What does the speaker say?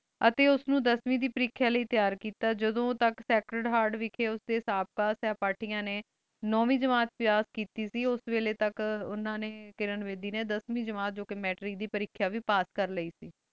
ਆਯ ਟੀ ਓਸ ਨੀ ਦਸਵੀ ਦੇ ਪਰਿਖ੍ਯਾ ਏ ਤਿਯਾਰ ਕੀਤਾ ਜਦੋ ਤਕ ਸਾਕ੍ਰੇਡ ਹੇਆਰਟ ਦੇ ਸੇਹ੍ਪਾਤਿਆ ਨੀ ਨੋਵੀ ਜਮਾਤ ਪਾਸ ਕੀਤੀ ਸੇ ਓਸ ਵੇਲੀ ਤਕ ਓਹ੍ਨ ਕਿਰਣ ਬੇਦੀ ਨੀ ਦਸਵੀ ਜਮਾਤ ਜੋ ਕੀ ਮੈਟ੍ਰਿਕ ਦੇ ਪਰਿਖ੍ਯਾ ਵੇ ਪਾਸ ਕਰ ਲਾਏ ਸੇ